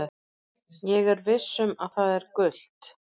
Ég er viss um að það er gult?